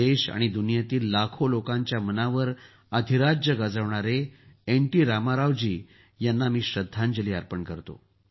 देश आणि दुनियेतील लाखो लोकांच्या मनांवर अधिराज्य गाजवणारे एनटी रामाराव जींना मी श्रद्धांजली अर्पण करतो